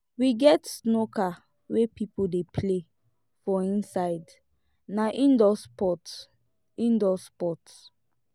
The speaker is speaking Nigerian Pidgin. we get snooker wey pipo dey play for inside na indoor sport indoor sport